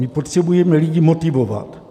My potřebujeme lidi motivovat.